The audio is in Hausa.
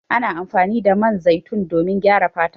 Ana amfani da man zaitun domin gyara fata.